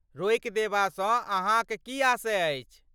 रोकि देबासँ अहाँक की आशय अछि?